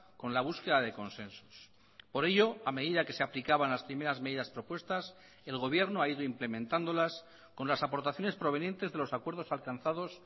con la búsqueda de consensos por ello a medida que se aplicaban las primeras medidas propuestas el gobierno ha ido implementándolas con las aportaciones provenientes de los acuerdos alcanzados